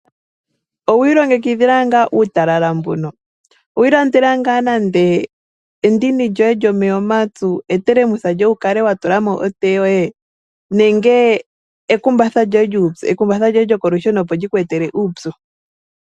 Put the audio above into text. Owi ilongekidhila ngaa uutalala mbuno? Owiilandela ngaa nande endini lyoye lyomeya omapyu? Etelemusa lyoye wu kale wa tula mo otee yoye nenge ekumbatha lyoye lyokolusheno opo li ku etele uupyu?